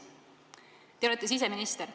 Te olete siseminister.